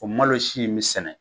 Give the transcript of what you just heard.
O malosi in bɛ sɛnɛ